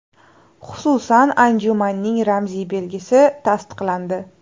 Xususan, anjumanning ramziy belgisi tasdiqlandi.